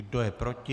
Kdo je proti?